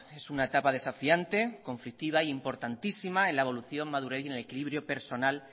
es una etapa desafiante conflictiva e importantísima en la evolución madurez y en el equilibrio personal